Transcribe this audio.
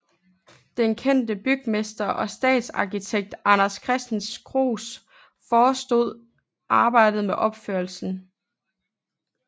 Den kendte bygmester og stadsarkitekt Anders Christensen Kruuse forestod arbejdet med opførelsen